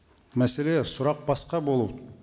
мәселе сұрақ басқа бұл